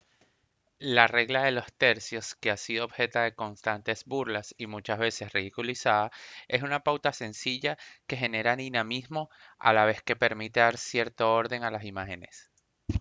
la regla de los tercios que ha sido objeto de constantes burlas y muchas veces ridiculizada es una pauta sencilla que genera dinamismo a la vez que permite dar cierto orden a las imágenes